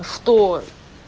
что